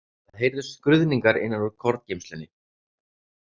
Það heyrðust skruðningar innan úr korngeymslunni.